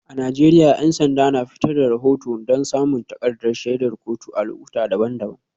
A Najeriya 'yan sanda na fitar da rahoto don samun takardar shaidar kotu a lokuta daban-daban.